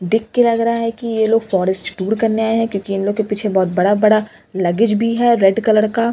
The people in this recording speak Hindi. देख के लग रहा है कि यह लोग फॉरेस्ट टूर करने आए हैं क्योंकि इन लोगों के पीछे बहुत बड़ा बड़ा लगेज भी है रेड कलर का --